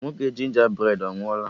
Nwoke ginger bred a anwụọla?